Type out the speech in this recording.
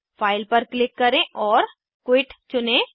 file पर click करें और क्विट चुनें